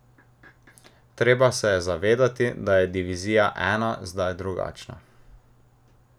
Treba se je zavedati, da je divizija I zdaj drugačna.